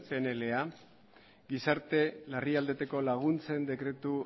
pnla gizarte larrialdietako laguntzen dekretu